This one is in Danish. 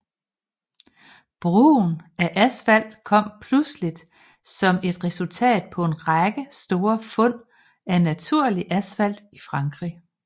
Brugen af asfalt kom pludseligt som et resultat på en række store fund af naturligt asfalt i Frankrig